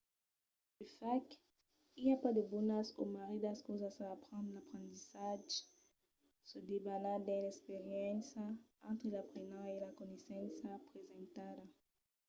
de fach i a pas de bonas o marridas causas a aprendre. l'aprendissatge se debana dins l’experiéncia entre l’aprenent e la coneissença presentada